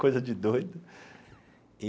Coisa de doido e.